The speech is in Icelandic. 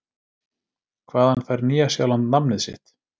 Hvaðan fær Nýja-Sjáland nafnið sitt?